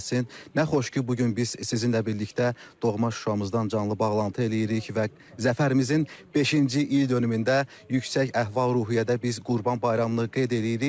Nə xoş ki, bu gün biz sizinlə birlikdə doğma Şuşamızdan canlı bağlantı eləyirik və Zəfərimizin beşinci ildönümündə yüksək əhval-ruhiyyədə biz Qurban Bayramını qeyd eləyirik.